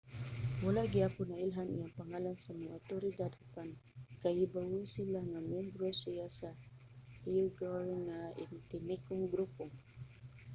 wala gihapon nailhan iyang pangalan sa mga awtoridad apan kahibawo sila nga miyembro siya sa uighur nga etnikong grupo